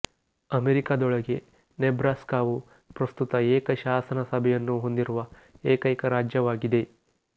ಅಮೇರಿಕದೊಳಗೆ ನೆಬ್ರಾಸ್ಕಾವು ಪ್ರಸ್ತುತ ಏಕ ಶಾಸನ ಸಭೆಯನ್ನು ಹೊಂದಿರುವ ಏಕೈಕ ರಾಜ್ಯವಾಗಿದೆ